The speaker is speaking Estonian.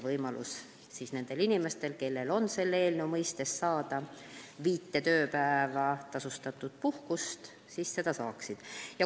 Siis on nendel inimestel, kellel on selle eelnõu järgi õigus saada viis tööpäeva tasustatud puhkust, võimalus seda saada.